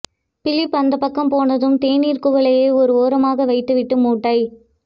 Philip அந்தப்பக்கம் போனதும் தேனீர் குவளையை ஒரு ஓரமாக வைத்துவிட்டு மூட்டை